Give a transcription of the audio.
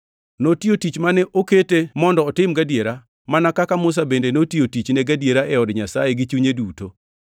Notiyo tich mane okete mondo otim gadiera, mana kaka Musa bende notiyo tichne gadiera e od Nyasaye gi chunye duto.